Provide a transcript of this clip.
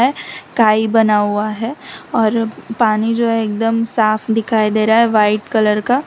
है काई बना हुआ है और पानी जो है एकदम साफ दिखाई दे रहा है वाइट कलर का।